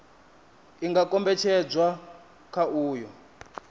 i nga kombetshedzwa kha uyo